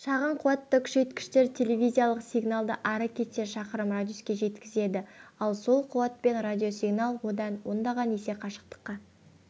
шағын қуатты күшейткіштер телевизиялық сигналды ары кетсе шақырым радиусқа жеткізеді ал сол қуатпен радиосигнал одан ондаған есе қашықтыққа